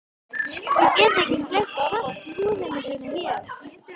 Ég get ekki sleikt salta húð þína hér.